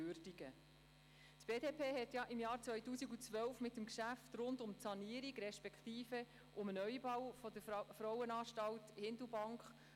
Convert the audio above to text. Die BDP hatte bereits im Jahr 2012 bei dem Geschäft rund um die Sanierung, respektive um den Neubau der Frauenanstalt 10